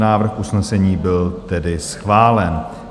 Návrh usnesení byl tedy schválen.